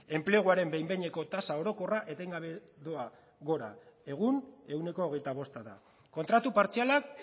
enpleguaren behin behineko tasa orokorra etengabe doa gora egun ehuneko hogeita bosta da kontratu partzialak